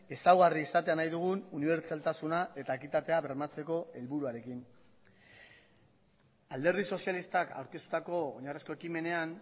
ezaugarri izatea nahi dugun unibertsaltasuna eta ekitatea bermatzeko helburuarekin alderdi sozialistak aurkeztutako oinarrizko ekimenean